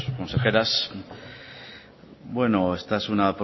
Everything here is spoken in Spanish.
consejeros bueno esta es una